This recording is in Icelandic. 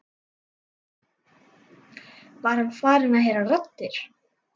Var hann farinn að heyra raddir?